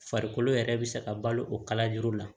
Farikolo yɛrɛ bɛ se ka balo o kala yiri la